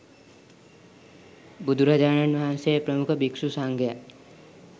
බුදුරජාණන් වහන්සේ ප්‍රමුඛ භික්ෂු සංඝයා